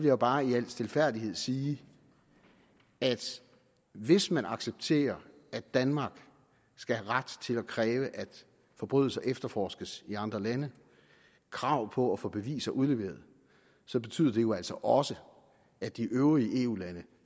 jo bare i al stilfærdighed sige at hvis man accepterer at danmark skal have ret til at kræve at forbrydelser efterforskes i andre lande og krav på at få beviser udleveret så betyder det jo altså også at de øvrige eu lande